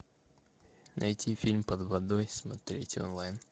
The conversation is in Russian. найти фильм под водой смотреть онлайн